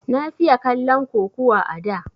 Na fiye kallon kukuwa a da